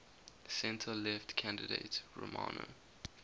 centre left candidate romano